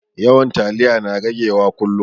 Yawan taliya na rage wa kullum